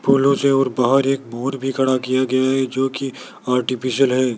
फूलों से और बाहर एक मोर भी खड़ा किया गया है जो की आर्टिफिशियल है।